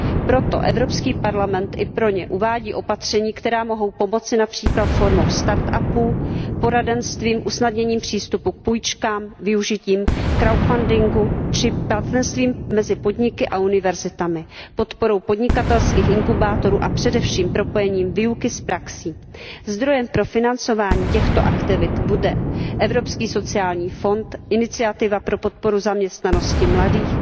Proto Evropský parlament i pro ně uvádí opatření, která mohou pomoci, například formou start upů, poradenstvím, usnadněním přístupu k půjčkám, využitím crowdfundingu či partnerstvím mezi podniky a univerzitami, podporou podnikatelských inkubátorů a především propojením výuky s praxí. Zdrojem pro financování těchto aktivit bude Evropský sociální fond, Iniciativa pro podporu zaměstnanosti mladých,